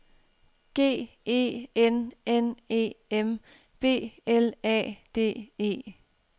G E N N E M B L A D E